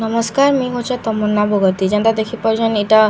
ନମସ୍କାର ମୁଁଇ ହଉଛେ ତମନ୍ନା ବଗର୍ତ୍ତୀ ଯେନ୍ତା ଦେଖିପାରୁଛନ୍‌ ଏଟା ଗୀତା ମା--